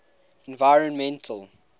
environmental